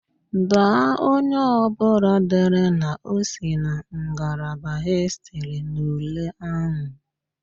Daa onye ọbụla dere na o si na ngalaba hịstịrị n'ule ahụ!